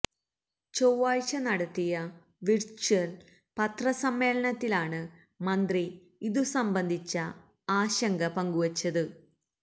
ചൊവ്വാഴ്ച നടത്തിയ വിര്ച്വല് പത്ര സമ്മേളനത്തിലാണ് മന്ത്രി ഇതുസംബന്ധിച്ച ആശങ്ക പങ്കുവച്ചത്